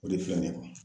O de filɛ ne kun